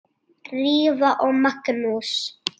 Drífa og Magnús.